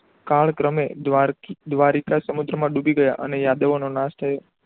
કાળક્રમે દ્વારકી દ્વારિકા સમુદ્ર માં ડૂબી ગયા અને યાદવો નો નાશ થયો.